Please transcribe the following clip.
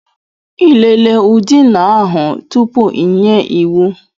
Ị lelee ụ̀dị̀nà ahụ tupu ị nye iwu?